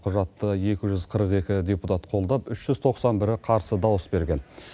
құжатты екі жүз қырық екі депутат қолдап үш жүз тоқсан бірі қарсы дауыс берген